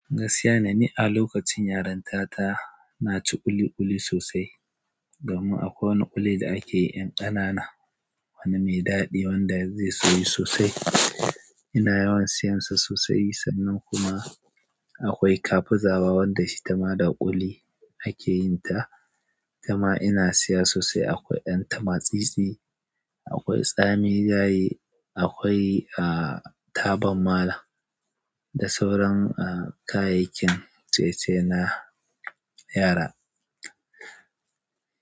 Gaskiya ne ni a lokacin yaranta ta na ci ƙuli-ƙuli sosai. Domin akwai wani ƙuli da ake yi 'yan ƙanana, wani mai daɗi wanda zai soyu sosai. Ina yawan siyan sa sosai, sannan kuma akwai kafu zabo wanda ita ma da ƙuli ake yin ta. Kuma ina siya sosai akwai ɗan tama-tsitsi, akwai tsami gaye, akwai, ah, tabar malam da sauran, ah, kayayyakin ciye-ciye na yara.